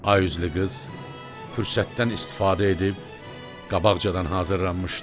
Ay üzlü qız fürsətdən istifadə edib qabaqcadan hazırlanmışdı.